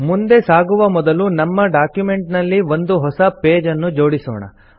ಮುಂದೆ ಸಾಗುವ ಮೊದಲು ನಮ್ಮ ಡಾಕ್ಯುಮೆಂಟ್ ನಲ್ಲಿ ಒಂದು ಹೊಸ ಪೇಜ್ ಅನ್ನು ಜೋಡಿಸೊಣ